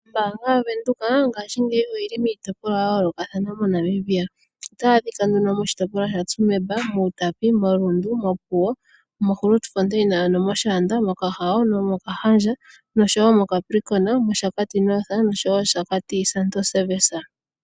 Ombaanga yaVenduka ngaashi ngeyi oyi li miitopolwa ya yoolokathana moNamibia. Otayi adhika nduno moshitopolwa shaTsumeb, mUutapi, moRundu, moPuwo, moGrootfontein ano mOshaanda, mOkahao, nomOkahandja, nosho wo moCapricon, mOshakati North nosho wo mOshakati Santorni Service.